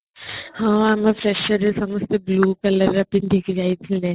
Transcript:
ହଁ ଆମେ freshers ରେ ସମସ୍ତେ blue colour ର ପିନ୍ଧିକି ଯାଇଥିଲେ